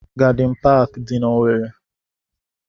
Gadịn paakị dị n'Owerre.